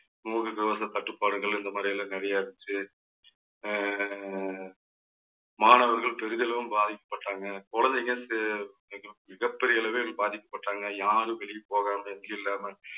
முகக்கவச கட்டுப்பாடுகள் இந்த முறையில நிறைய இருந்துச்சு. அஹ் மாணவர்கள் பெரிதளவும் பாதிக்கப்பட்டாங்க. குழந்தைங்க சே~ மிகப்~ மிகப்பெரிய அளவில் பாதிக்கப்பட்டாங்க. யாரும் வெளிய போகாம net இல்லாம